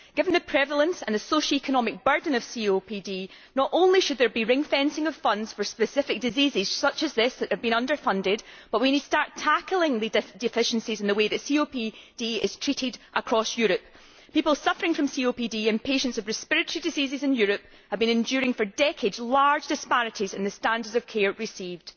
Given the prevalence and the socio economic burden of COPD, not only should there be ringfencing of funds for specific diseases such as this one that have been underfunded, but we need to start tackling the deficiencies in the way that COPD is treated across Europe. People suffering from COPD and patients with respiratory diseases in Europe have for decades been enduring large disparities in the standard of care received.